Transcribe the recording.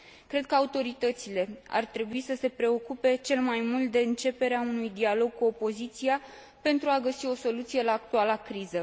Cred că autoritățile ar trebui să se preocupe cel mai mult de începerea unui dialog cu opoziția, pentru a găsi o soluție la actuala criză.